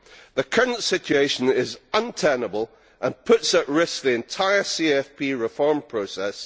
The current situation is untenable and puts at risk the entire CFP reform process.